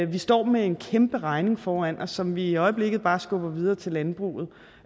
vi står med en kæmpe regning foran os som vi i øjeblikket bare skubber videre til landbruget